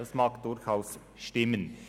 Das mag durchaus stimmen.